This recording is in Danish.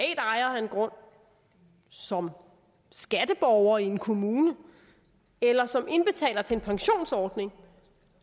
ejer af en grund som skatteborger i en kommune eller som indbetaler til en pensionsordning